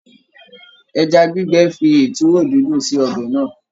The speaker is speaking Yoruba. Ẹja gbígbẹ fi ìtúwò dídùn sí ọbẹ̀ náà.